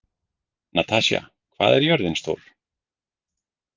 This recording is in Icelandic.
Natasja, hvað er jörðin stór?